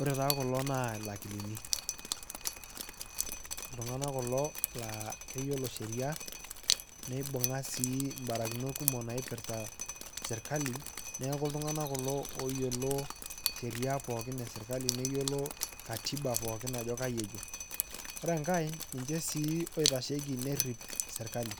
Ore taa kulo naa lakilini, ltungana kulo naa keyolo sheria neibunga sii imbarakinot kumok naipirta serikali naaku ltungana kulo ooyiolo sheria pookin eserikali neyiolo katiba pookin ajo kanyioo ejo. Ore inkae ninche sii loitacheki neriip serikali